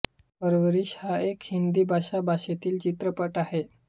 परवरीश हा एक हिंदी भाषा भाषेतील चित्रपट आहे